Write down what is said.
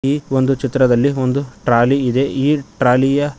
ಈ ಒಂದು ಚಿತ್ರದಲ್ಲಿ ಒಂದು ಟ್ರಾಲಿ ಇದೆ ಈ ಟ್ರಾಲಿ ಯ--